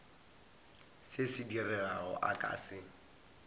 se se diregago a se